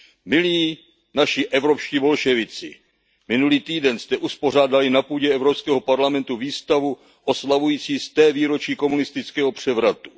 Milí naši evropští bolševici, minulý týden jste uspořádali na půdě Evropského parlamentu výstavu oslavující sté výročí komunistického převratu.